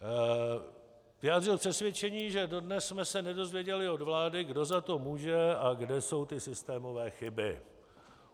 Vyjádřil přesvědčení, že dodnes jsme se nedozvěděli od vlády, kdo za to může a kde jsou ty systémové chyby.